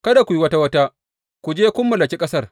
Kada ku yi wata wata, ku je kun mallaki ƙasar.